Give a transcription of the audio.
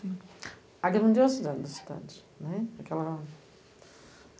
A grandiosidade da cidade, né. Porque ela